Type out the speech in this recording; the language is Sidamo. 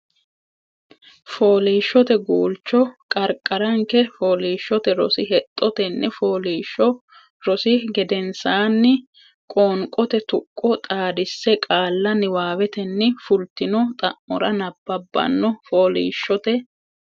Fooliishshote Guulcho Qarqaranke Fooliishshote Rosi Hexxo Tenne fooliishsho rosi gedensaanni Qoonqote tuqqo xaadisse qaalla Niwaawetenni fultino xa mora nabbabbano Fooliishshote.